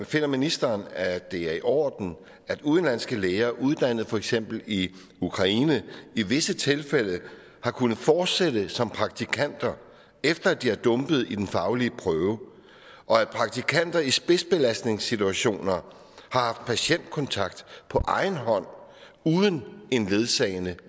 finder ministeren at det er i orden at udenlandske læger uddannet for eksempel i ukraine i visse tilfælde har kunnet fortsætte som praktikanter efter at de er dumpet i den faglige prøve og at praktikanter i spidsbelastningssituationer har haft patientkontakt på egen hånd uden en ledsagende